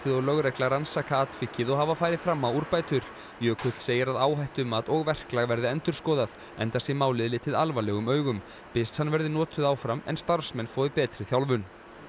og lögregla rannsaka atvikið og hafa farið fram á úrbætur jökull segir að áhættumat og verklag verði endurskoðað enda sé málið litið alvarlegum augum byssan verði notuð áfram en starfsmenn fái betri þjálfun